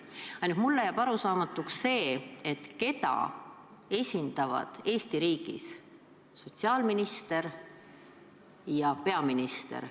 Aga mulle jääb arusaamatuks, keda esindavad Eesti riigis sotsiaalminister ja peaminister.